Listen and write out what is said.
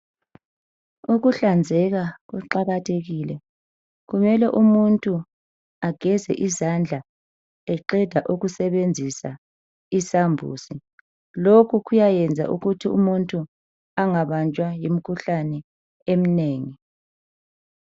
Ukuhlanzeka kuqakathekile kumele umuntu ageze izandla eqeda ukusebenzisa isambuzi lokhu kuyayenza ukuthi umuntu engabanjwa yimikhuhlane eminengi.